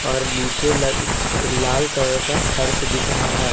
पर नीचे ला लाल कलर का फर्श दिख रहा है।